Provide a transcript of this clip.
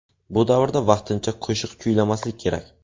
Bu davrda vaqtincha qo‘shiq kuylamaslik kerak.